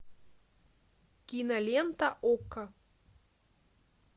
кинолента окко